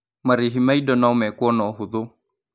Marĩhi ma indo no meekwo na ũhũthũ.